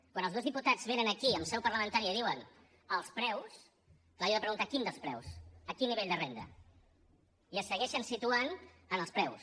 quan els dos diputats venen aquí en seu parlamentària i diuen els preus clar jo he de preguntar quin dels preus quin nivell de renda i es segueixen situant en els preus